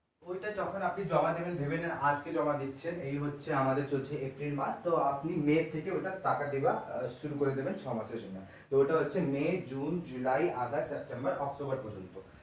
ওইটা যখন আপনি জমা দেবেন ভেবে নিন আজকে জমা দিচ্ছেন এই হচ্ছে আমাদের এটা april মাস তো আপনি may থেকে ওটার টাকা দেওয়া শুরু করে দেবেন ছয় মাসের জন্যে তো ওটা হচ্ছে may, june, july, august, september, october পর্যন্ত।